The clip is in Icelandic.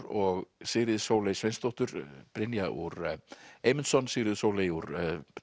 og Sigríði Sóley Sveinsdóttur brynja úr Eymundsson Sigríður Sóley úr